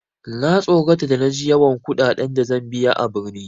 Na tsorata da na ji yawan kuɗaɗen da zan biya a birni.